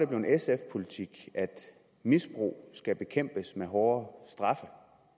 blevet sf politik at misbrug skal bekæmpes med hårdere straffe